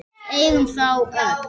Við eigum þá öll.